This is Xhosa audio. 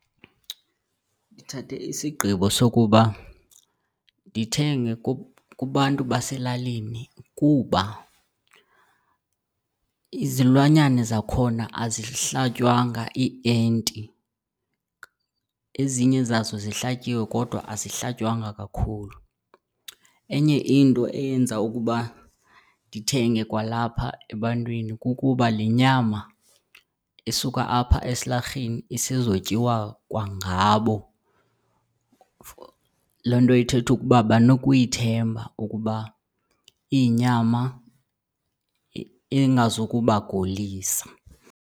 Ndithathe isigqibo sokuba ndithenge kubantu baselalini kuba izilwanyana zakhona azihlatywanga iienti, ezinye zazo zihlatyiwe kodwa azihlatywanga kakhulu. Enye into eyenza ukuba ndithenge kwalapha ebantwini kukuba le nyama isuka apha esilarheni isezotyiwa kwangabo. Loo nto ithetha ukuba banokuyithemba ngokuba iyinyama engazukubagulisa.